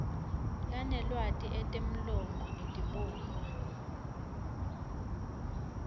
lanelwati etemlomo etibonwa